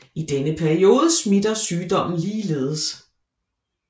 I denne periode smitter sygdommen ligeledes